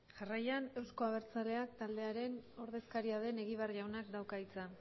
jarraian euzko abertzaleak taldearen ordezkaria den egibar jaunak dauka hitza